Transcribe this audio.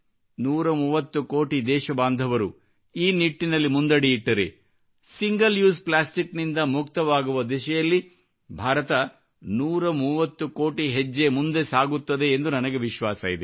130 ಕೋಟಿ ದೇಶಬಾಂಧವರು ಈ ನಿಟ್ಟಿನಲ್ಲಿ ಮುಂದಡಿಯಿಟ್ಟರೆ ಸಿಂಗಲ್ ಉಸೆ ಪ್ಲಾಸ್ಟಿಕ್ ನಿಂದ ಮುಕ್ತವಾಗುವ ದಿಸೆಯಲ್ಲಿ ಭಾರತ 130 ಕೋಟಿ ಹೆಜ್ಜೆ ಮುಂದೆ ಸಾಗುತ್ತದೆ ಎಂದು ನನಗೆ ವಿಶ್ವಾಸವಿದೆ